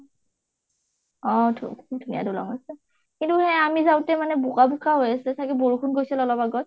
অ ধু ধুনীয়া দলং হয়। কিন্তু সেই আমি যাওতে মানে বোকা বোকা হই আছে, চাগে বৰষুণ গৈছিল অলপ আগত